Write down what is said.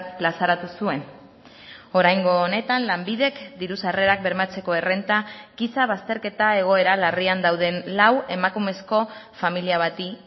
plazaratu zuen oraingo honetan lanbidek diru sarrerak bermatzeko errenta giza bazterketa egoera larrian dauden lau emakumezko familia bati